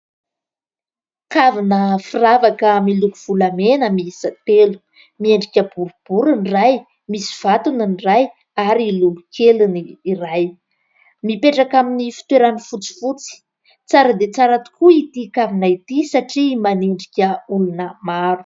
Kavina firavaka miloko volamena miisa telo miendrika boribory ny iray, misy vatony ny iray ary lolokely ny iray, mipetraka amin'ny fitoerany fotsifotsy ; tsara dia tsara tokoa ity kavina ity satria manendrika olona maro.